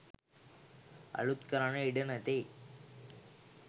අලූත් කරන්නට ඉඩ නැත්තේ ඇයි?